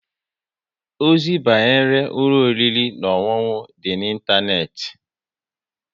Ozi banyere ụlọ oriri na ọṅụṅụ dị n'Ịntaneti